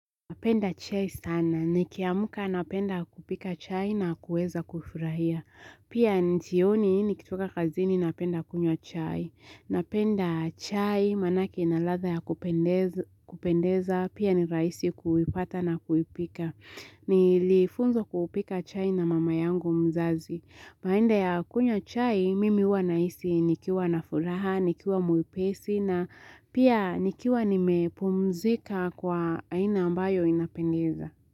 Napenda chai sana. Nikiamka napenda kupika chai na kuweza kufurahia. Pia jioni nikitoka kazini napenda kunywa chai. Napenda chai manake inaladhaa ya kupendeza. Pia ni rahisi kuipata na kuipika. Nilifunzwa kupika chai na mama yangu mzazi. Baada ya kunywa chai, mimi huwa nahisi nikiwa na furaha, nikiwa mwepesi na pia nikiwa nimepumzika kwa aina ambayo inapendeza.